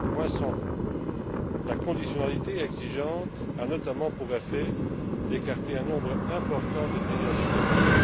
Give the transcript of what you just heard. loin s'en faut. La conditionnalité exigeante a, notamment, pour effet d'écarter un nombre important de pays en développement.